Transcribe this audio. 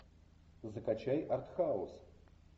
закачай артхаус